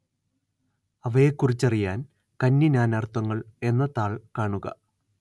അവയെക്കുറിച്ചറിയാന്‍ കന്നി നാനാര്‍ത്ഥങ്ങള്‍ എന്ന താള്‍ കാണുക